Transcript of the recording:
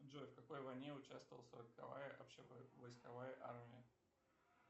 джой в какой войне участвовала сороковая общевойсковая армия